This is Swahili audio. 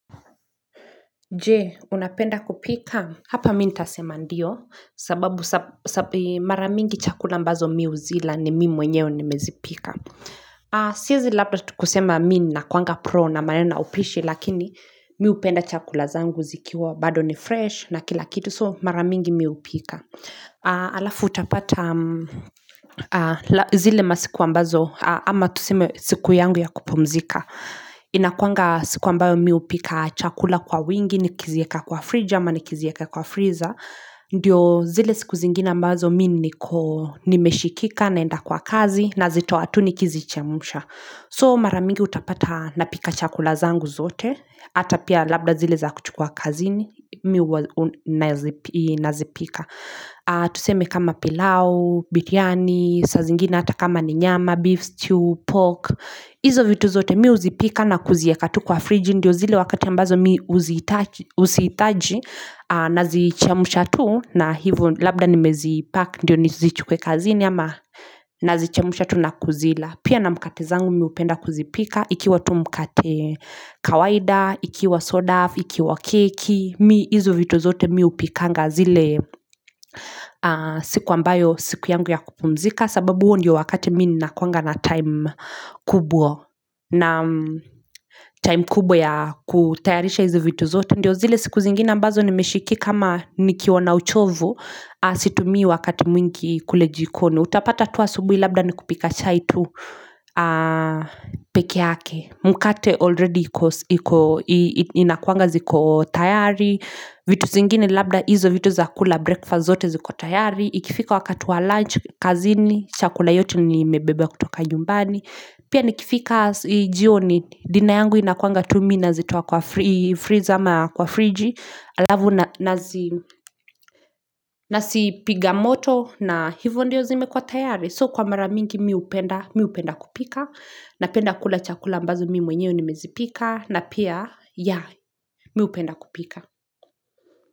Je, unapenda kupika? Hapa mimi nitasema ndio, sababu mara mingi chakula ambazo mimi huzila ni mimi mwenyewe nimezipika. Siezi labda kusema mimi ninakuanga pro na maneno ya upishi, lakini mimi hupenda chakula zangu zikiwa, bado ni fresh na kila kitu, so maramingi mimi hupika. Alafu utapata zile masiku ambazo, ama tuseme siku yangu ya kupumzika. Inakuanga siku ambayo mimi hupika chakula kwa wingi nikizieka kwa fridge ama nikizieka kwa freezer Ndiyo zile siku zingine ambazo mimi niko nimeshikika naenda kwa kazi nazitoa tu nikizichemsha So mara mingi utapata napika chakula zangu zote Hata pia labda zile za kuchukua kazini mimi nazipika Tuseme kama pilau, biriani, saa zingina hata kama ni nyama, beef stew, pork hizo vitu zote mimi huzipika na kuzieka tu kwa fridge Ndio zile wakati ambazo mimi huzihitaji Nazichemsha tu na hivo labda nimezipack Ndio nizichukwe kazini ama Nazichemsha tu na kuzila Pia na mkate zangu mimi hupenda kuzipika Ikiwa tu mkate kawaida Ikiwa soda, ikiwa keki mimi hizo vitu zote mimi hupikanga zile siku ambayo siku yangu ya kupumzika sababu huo ndo wakati mimi nakuanga na time kubwa na time kubwa ya kutayarisha hizi vitu zote Ndiyo zile siku zingine ambazo nimeshikika ama nikiwa na uchovu Situmii wakati mwingi kule jikoni Utapata tu asubuhi labda ni kupika chai tu peke yake Mkate already inakuanga ziko tayari vitu zingine labda hizo vitu za kula breakfast zote ziko tayari Ikifika wakati wa lunch, kazini, chakula yote nimebeba kutoka nyumbani Pia nikifika jioni dinner yangu inakuanga tu mimi nazitoa kwa freezer ama kwa friji Alafu nazipiga moto na hivo ndio zimekua tayari So kwa mara mingi mimi hupenda kupika Napenda kula chakula ambazo mimi mwenyewe nimezipika na pia ya mimi hupenda kupika.